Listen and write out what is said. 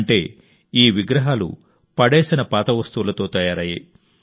అంటే ఈ విగ్రహాలను చెత్తలో పడేసిన పాత వస్తువులతో తయారయ్యాయి